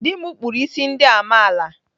Dị m kpụrụ isi ndị amaala.